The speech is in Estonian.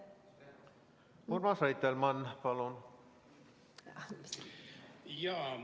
Urmas Reitelmann, palun!